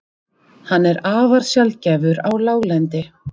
Hann er afar sjaldgæfur á láglendi.